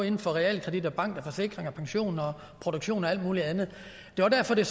inden for realkredit bank forsikring pension produktion og alt muligt andet det er derfor det